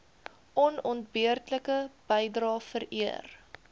onontbeerlike bydrae vereer